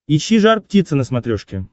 ищи жар птица на смотрешке